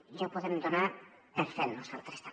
ja ho podem donar per fet nosaltres també